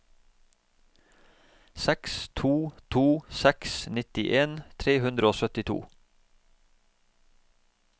seks to to seks nittien tre hundre og syttito